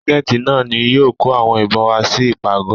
Ságẹ́ńtì náà ni yóò kó àwọn ìbọn wá sí ìpàgọ̀.